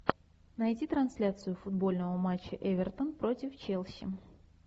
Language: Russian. найти трансляцию футбольного матча эвертон против челси